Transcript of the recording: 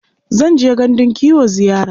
Zan je gandun kiwo ziyara.